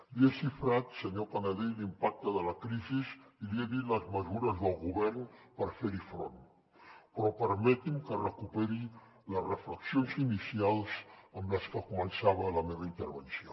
li he xifrat senyor canadell l’impacte de la crisi i li he dit les mesures del govern per fer hi front però permeti’m que recuperi les reflexions inicials amb les que començava la meva intervenció